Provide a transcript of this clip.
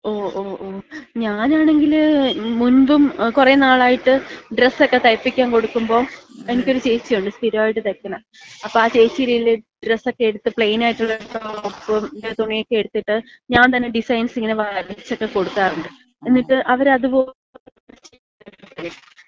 ഓ ഓ ഓ. ഞാനാണെങ്കില് മുൻപും കുറെ നാളായിട്ട് ഡ്രസ്സക്ക തൈപ്പിക്കാൻ കൊടുക്കുമ്പം, എനിക്കൊരു ചേച്ചിയുണ്ട് സ്ഥിരമായിട്ട് തയ്ക്കണ. അപ്പ ആ ചേച്ചീടേല് ഡ്രസ്സക്ക എടുത്ത്, പ്ലെയിനായിട്ടൊള്ള തുണിയക്ക എടുത്തിട്ട്, ഞാൻ തന്നെ ഡിസൈൻസ് ഇങ്ങനെ വരച്ചക്ക കൊടുക്കാറുണ്ട്. എന്നിട്ട് അവരതുപോലെ തന്ന സ്റ്റിച്ച് ചെയ്ത് തരാറൊണ്ട്.